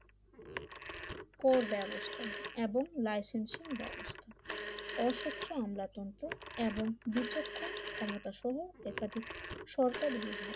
কর ব্যবস্থা এবং লাইসেন্সিং ব্যবস্থা অসচ্ছ আমলাতন্ত্র এবং বিচক্ষণ ক্ষমতা সহ একাধিক সরকারি ভাব